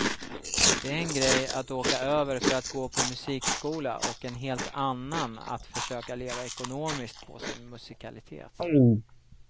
Det är en grej att åka över för att gå på musikskola och en helt annan att försöka leva ekonomiskt på sin musikalitet.